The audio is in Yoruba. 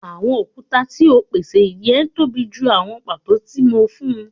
Awọn okuta ti o pese jẹ tobi ju awọn pato ti mo fun